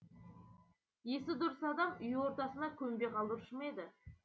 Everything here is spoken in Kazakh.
есі дұрыс адам үй ортасына көмбе қалдырушы ма еді